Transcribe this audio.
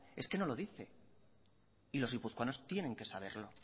es que no lo dice y los guipuzcoanos tienen que saberlo